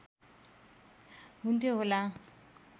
हुन्थ्यो होला